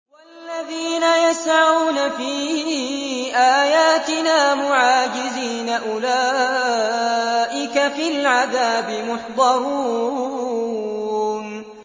وَالَّذِينَ يَسْعَوْنَ فِي آيَاتِنَا مُعَاجِزِينَ أُولَٰئِكَ فِي الْعَذَابِ مُحْضَرُونَ